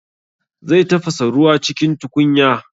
Zai tafasa ruwa cikin tukunya